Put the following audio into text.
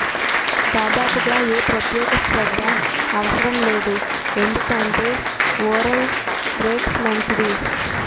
దాదాపుగా ఏ ప్రత్యేక శ్రద్ధ అవసరం లేదు ఎందుకంటే ఉరల్ రెక్స్ మంచిది